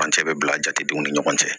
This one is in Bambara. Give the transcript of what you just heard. Furancɛ bɛ bila jatedenw ni ɲɔgɔn cɛ